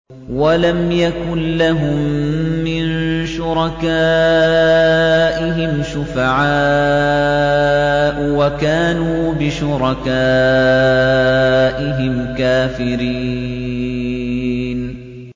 وَلَمْ يَكُن لَّهُم مِّن شُرَكَائِهِمْ شُفَعَاءُ وَكَانُوا بِشُرَكَائِهِمْ كَافِرِينَ